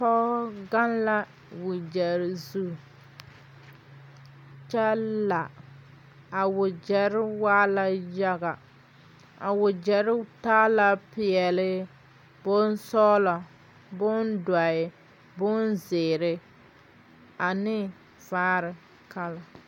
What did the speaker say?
Pɔgɔ gaŋ la wagyere zu kyɛ la. A wagyere waa la yaga. A wagyere taa la piɛle, bon sɔglɔ, bon doɔe, bon ziire, ane vaare kala